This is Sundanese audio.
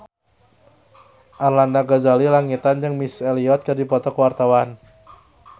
Arlanda Ghazali Langitan jeung Missy Elliott keur dipoto ku wartawan